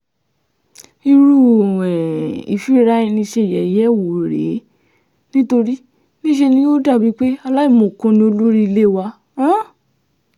irú um ìfira-ẹni-ṣe-yẹ̀yẹ́ wò rèé nítorí níṣe ni yóò dà bíi pé aláìmọ̀kan ni olórí ilé wa um